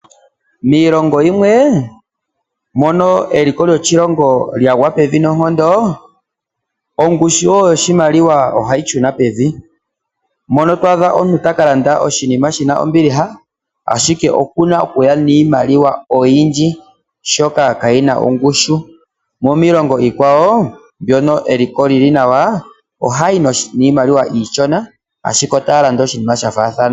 Miilongo yimwe mono eliko lyoshilongo lyagwa pevi noonkondo, ongushu wo yoshimaliwa ohayi shuna pevi, mono to adha omuntu ta ka landa oshinima shina ombiliha ashike oku na okuya niimaliwa oyindji, oshoka kayina ongushu, mo miongo iikwawo mono eliko lyili nawa ohaya yi niimaliwa iishona ashike otaya landa oshinima sha faathana.